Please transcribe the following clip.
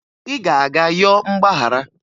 ị ga-aga yọọ mgbaghara